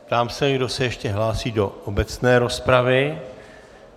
Ptám se, kdo se ještě hlásí do obecné rozpravy.